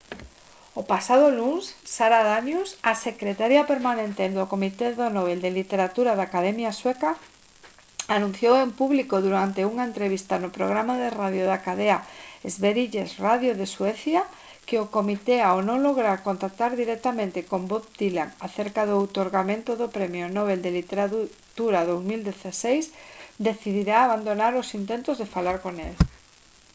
o pasado luns sara danius a secretaria permanente do comité do nobel de literatura da academia sueca anunciou en público durante unha entrevista no programa de radio da cadea sveriges radio en suecia que o comité ao non lograr contactar directamente con bob dylan acerca do outorgamento do premio nobel de literatura 2016 decidira abandonar os intentos de falar con el